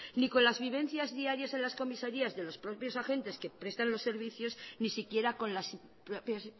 ni con las vivencias diarias en las comisarías de los propios agentes que prestan los servicios ni siquiera con las propias